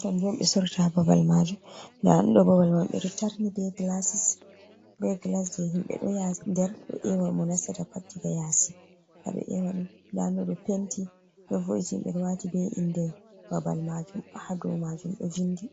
Kannjum on ɓe soorata ha babal maajum. Ndaa ɗoo babal may ɓe taarni bee "gilaasis" bee "gilas" jey himɓe ɗo nder ɗon ƴeewa mo nastata pat diga yaasi ha ɓe ƴeew ɗum. Ndaa ɗum ɗo penti do vo’itini ɓe ɗo waati bee innde babal maajum ha dow maajum ɗo vinndi.